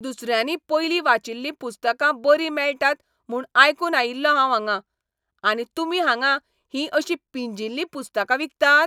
दुसऱ्यांनी पयलीं वाचिल्लीं पुस्तकां बरीं मेळटात म्हूण आयकून आयिल्लों हांव हांगां. आनी तुमी हांगां हीं अशीं पिंजिल्लीं पुस्तकां विकतात?